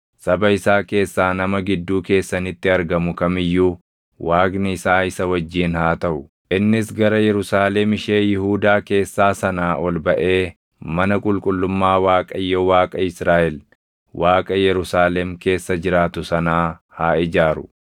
Saba isaa keessaa nama gidduu keessanitti argamu kam iyyuu Waaqni isaa isa wajjin haa taʼu; innis gara Yerusaalem ishee Yihuudaa keessaa sanaa ol baʼee mana qulqullummaa Waaqayyo Waaqa Israaʼel, Waaqa Yerusaalem keessa jiraatu sanaa haa ijaaru.